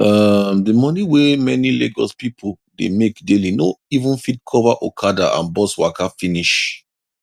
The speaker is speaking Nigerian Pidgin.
um the money wey many lagos people dey make daily no even fit cover okada and bus waka finish